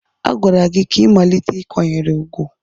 A gwara gị ka ị malite ịkwanyere ugwu!